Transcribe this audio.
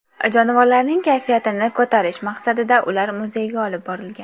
Jonivorlarning kayfiyatini ko‘tarish maqsadida ular muzeyga olib borilgan.